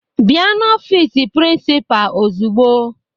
Bịa n'ọfiisi prịnsịpaa ozugbo!